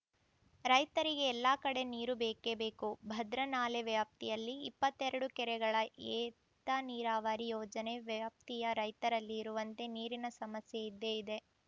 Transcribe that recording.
ರೈತರಿಗೆ ಎಲ್ಲಾ ಕಡೆ ನೀರು ಬೇಕೆ ಬೇಕು ಭದ್ರಾ ನಾಲೆ ವ್ಯಾಪ್ತಿಯಲ್ಲಿ ಇಪ್ಪತ್ತೆರಡು ಕೆರೆಗಳ ಏತ ನೀರಾವರಿ ಯೋಜನೆ ವ್ಯಾಪ್ತಿಯ ರೈತರಲ್ಲಿ ಇರುವಂತೆ ನೀರಿನ ಸಮಸ್ಯೆ ಇದ್ದೇ ಇದೆ